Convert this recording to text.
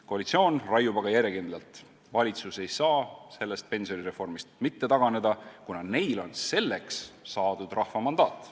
Koalitsioon raiub aga järjekindlalt: valitsus ei saa sellest pensionireformist mitte taganeda, kuna neil on selleks saadud rahva mandaat.